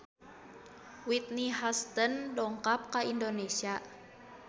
Whitney Houston dongkap ka Indonesia